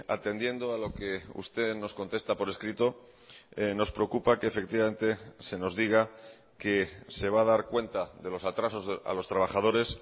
atendiendo a lo que usted nos contesta por escrito nos preocupa que efectivamente se nos diga que se va a dar cuenta de los atrasos a los trabajadores